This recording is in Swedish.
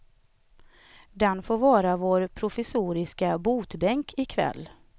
Den får vara vår provisoriska botbänk i kväll.